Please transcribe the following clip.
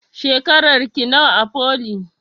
Shekarar ki nawa a foli?